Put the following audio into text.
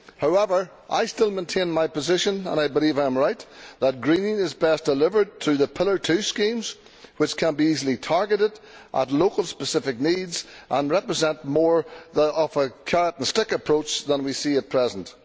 However, I still maintain my position, and I believe I am right, that greening is best delivered through the Pillar Two schemes which can be easily targeted at local specific needs and represent more of a carrot and stick approach than we see at present.